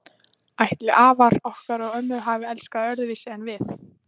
Ætli afar okkar og ömmur hafi elskast öðruvísi en við?